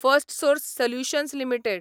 Firstsource solutions limited